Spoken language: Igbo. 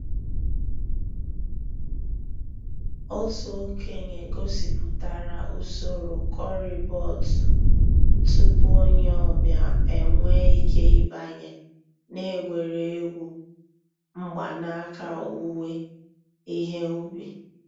Ọ̀tù òkènye gọ̀sìpùtárà ǔsòrò corribot túpù ònyè ọ̀ bịa enwèè ìké ị̀bànyè n'ègwè́ré́gwụ̀ mgbànàkà òwùwé ìhè ǔbì.